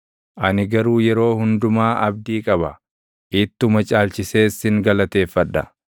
Ani garuu yeroo hundumaa abdii qaba; ittuma caalchisees sin galateeffadha.